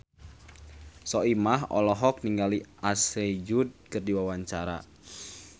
Soimah olohok ningali Ashley Judd keur diwawancara